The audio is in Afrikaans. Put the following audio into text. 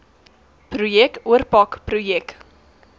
projek oorpak projek